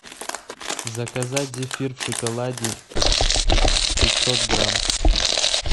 заказать зефир в шоколаде пятьсот грамм